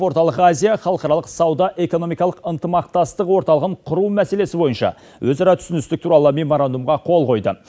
орталық азия халықаралық сауда экономикалық ынтымақтастық орталығын құру мәселесі бойынша өзара түсіністік туралы меморандумға қол қойды